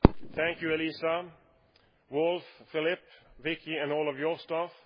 Thank you, Elisa, Wolf, Philippe, Vicky and all of your staff